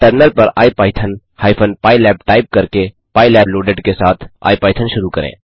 terminal पर IPython hyphen pylab type करके pylab loaded के साथ आईपाइथन शुरू करें